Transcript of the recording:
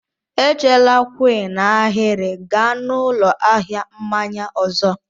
Echela kwụ n'ahịrị, gaa n'ụlọ ahịa mmanya ọzọ!